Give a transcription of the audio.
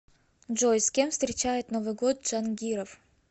джой с кем встречает новый год джангиров